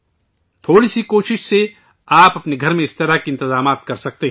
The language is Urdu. تھوڑی سی کوشش سے آپ اپنے گھر میں اس طرح کے انتظامات کر سکتے ہیں